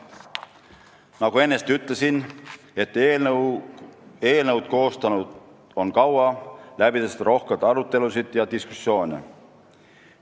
Nagu ennist ütlesin, eelnõu on koostatud kaua, läbitud on rohkesti arutelusid ja diskussioone.